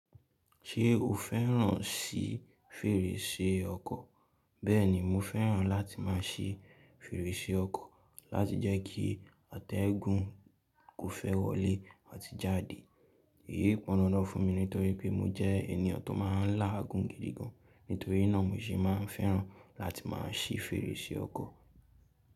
Ṣé o fẹ́ràn sí fèrèsé ọkọ̀? Bẹ́ẹ̀ni, mo fẹ́ràn láti máa ṣe fèrèsé ọkọ̀ láti jẹ́ kí àtẹ̀gùn kó fẹ́ wọlé àti jáde. Èyí pọn dandan fún mi nítorí pé mo jẹ́ ènìyàn tó má a ń lá àgùn gidi gan. Nítorí náà mo sì má a ń fẹ́ràn láti má a ṣí fèrèsé ọkọ̀.